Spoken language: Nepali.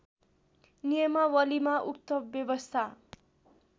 नियमावलीमा उक्त व्यवस्था